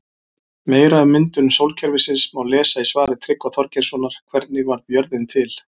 Meira um myndun sólkerfisins má lesa í svari Tryggva Þorgeirssonar Hvernig varð jörðin til?